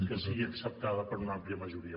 que sigui acceptada per una àmplia majoria